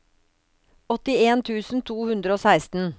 åttien tusen to hundre og seksten